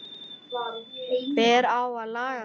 Hver á að laga þetta?